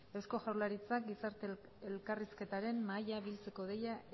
eusko jaurlaritzak gizarte elkarrizketaren mahaia biltzeko deia